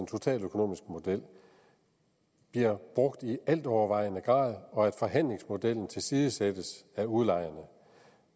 totaløkonomiske model bliver brugt i altovervejende grad og at forhandlingsmodellen tilsidesættes af udlejerne